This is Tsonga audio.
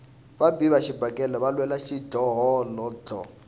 vabi va xibakele va lwela xidlhodlho